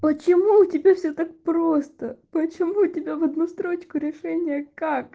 почему у тебя все так просто почему у тебя в одну строчку решение как